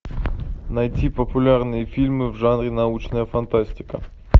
найти популярные фильмы в жанре научная фантастика